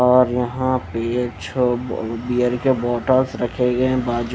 और यहां पे ये छह ब बियर के बॉटल्स रखे गए हैं बाजू--